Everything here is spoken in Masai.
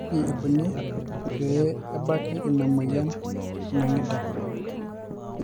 kaji ikoni pee ebanki ina moyia e nang'ida?